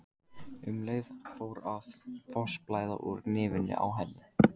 Um leið fór að fossblæða úr nefinu á henni.